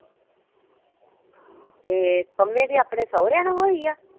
ਇਹ ਪੰਮੇ ਦੇ ਆਪਣੇ ਸਹੁਰਿਆਂ ਨਾਲ ਹੋਈ ਆ?